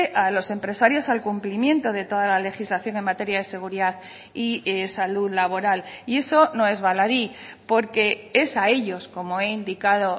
a los empresarios al cumplimiento de toda la legislación en materia de seguridad y salud laboral y eso no es baladí porque es a ellos como he indicado